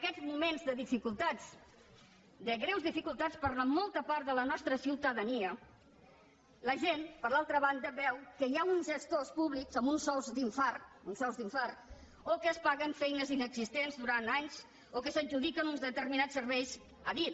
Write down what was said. aquests moments de dificultats de greus dificultats per a molta part de la nostra ciutadania la gent per l’altra banda veu que hi ha uns gestors públics amb uns sous d’infart uns sous d’infart o que es paguen feines inexistents durant anys o que s’adjudiquen uns determinats serveis a dit